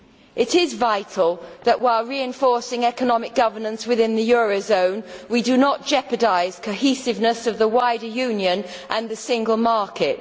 It is vital that while reinforcing economic governance within the euro area we do not jeopardise cohesiveness of the wider Union and the single market.